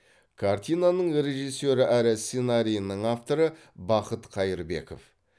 картинаның режиссері әрі сценариінің авторы бақыт қайырбеков